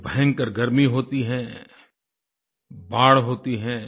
जब भयंकर गर्मी होती है बाढ़ होती है